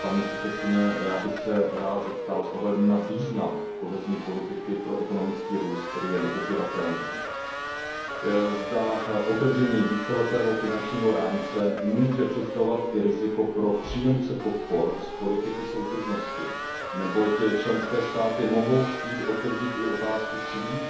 Paní komisařko, já bych se rád zeptal s ohledem na význam politiky soudržnosti pro ekonomický růst, který je nepopiratelný, zda otevření víceletého finančního rámce může představovat i riziko pro příjemce podpor z politiky soudržnosti, neboť členské státy mohou chtít otevřít i otázku výše svých